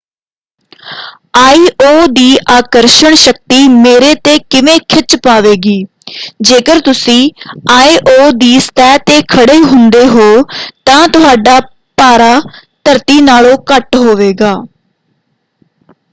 IO. ਦੀ ਆਕਰਸ਼ਣ ਸ਼ਕਤੀ ਮੇਰੇ ‘ਤੇ ਕਿਵੇਂ ਖਿੱਚ ਪਾਵੇਗੀ? ਜੇਕਰ ਤੁਸੀਂ ਆਇ.ਓ. ਦੀ ਸਤਹ 'ਤੇ ਖੜੇ ਹੁੰਦੇ ਹੋ ਤਾਂ ਤੁਹਾਡਾ ਭਾਰਾ ਧਰਤੀ ਨਾਲੋਂ ਘੱਟ ਹੋਵੇਗਾ।